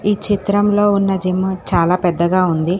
ఈ చిత్రంలో ఉన్న జిమ్ము చాలా పెద్దగా ఉంది.